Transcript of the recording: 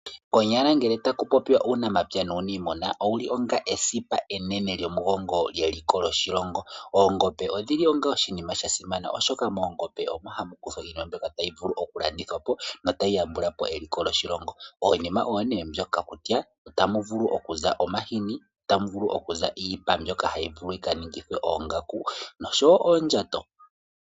Konyala ngele taku popiwa uunamapya nuuniimuna owuli onga esipa enene lyomugongo lyeliko lyoshilongo. Oongombe odhili onga oshinima sha simana oshoka moongombe omo hamu vulu okukuthwa iinima mbyoka tayi vulu okulandithwa po notayi yambula po eliko lyoshilongo. Iinima oyo nee mbyoka kutya otamu vulu okuza omahini, tamu vulu okuza iipa mbyono hayi vulu oku kaningithwa oongaku nosho wo oondjato.